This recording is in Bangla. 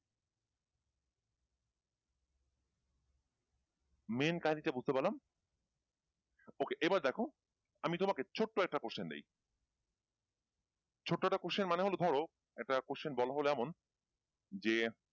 main কাহিনীটা বুঝতে পারলাম Okay এবার দেখো আমি তোমাকে ছোট্ট একটা question দেই ছোট্ট একটা question মানে হলো ধরো একটা question বলা হলো এমন যে,